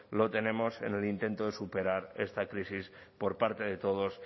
lo tenemos en el intento de superar esta crisis por parte de todos